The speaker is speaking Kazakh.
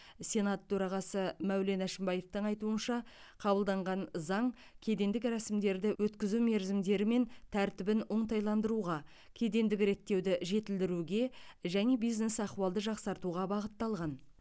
сенат төрағасы мәулен әшімбаевтың айтуынша қабылданған заң кедендік рәсімдерді өткізу мерзімдері мен тәртібін оңтайландыруға кедендік реттеуді жетілдіруге және бизнес ахуалды жақсартуға бағытталған